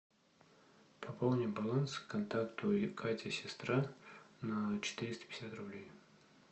пополни баланс контакту катя сестра на четыреста пятьдесят рублей